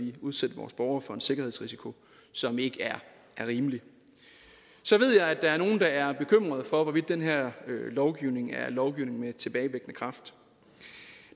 udsætte borgerne for en sikkerhedsrisiko som ikke er rimelig så ved jeg at der er nogle der er bekymrede for hvorvidt den her lovgivning er lovgivning med tilbagevirkende kraft